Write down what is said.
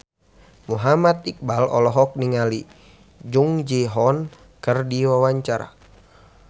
Muhammad Iqbal olohok ningali Jung Ji Hoon keur diwawancara